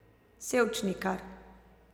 Sevčnikar.